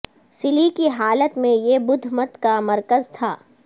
سلی کی حالت میں یہ بدھ مت کا مرکز تھا